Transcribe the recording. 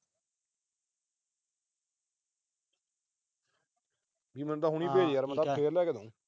ਵੀ ਮੈਨੂੰ ਤਾਂ ਹੁਣੀ ਭੇਜ, ਮੈਂ ਤਾਂ ਫਿਰ ਲਿਆ ਕੇ ਦਿਉ।